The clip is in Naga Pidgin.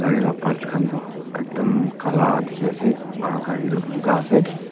gari laga parts khan toh ekdum kala dikhi ase aro gari toh bugha ase.